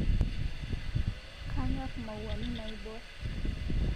Kanyor mauani naibor